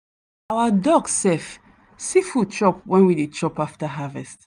our dog sef see food chop when we dey chop after harvest.